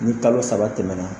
Ni kalo saba tɛmɛna